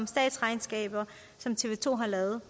statsregnskabet som tv to har lavet